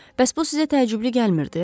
Bəs bu sizə təəccüblü gəlmirdi?